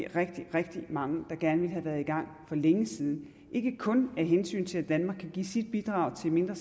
rigtig rigtig mange der gerne ville have været i gang for længe siden ikke kun af hensyn til at danmark kan give sit bidrag til en mindre